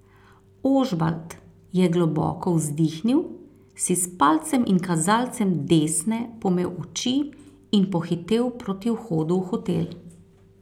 Ožbalt je globoko vzdihnil, si s palcem in kazalcem desne pomel oči in pohitel proti vhodu v hotel.